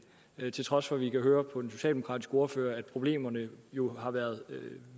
til trods for at vi kan høre på den socialdemokratiske ordfører at problemerne jo har været